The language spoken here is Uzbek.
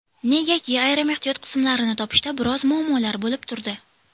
Negaki, ayrim ehtiyot qismlarini topishda biroz muammolar bo‘lib turdi.